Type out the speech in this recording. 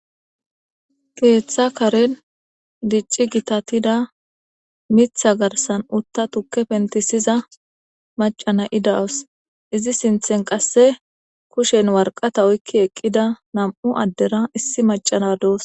Ketha karen dic,ii gitatida mitha garsan tuke pentisida Mac,a nayiya dawus izi sinthen qase kushen woraqata oyiqida na,mu adde nne issi Mac,a nayiya dawus